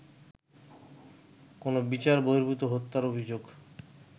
কোনো বিচার বর্হিভূত হত্যার অভিযোগ